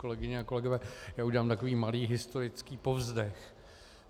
Kolegyně a kolegové, já udělám takový malý historický povzdech.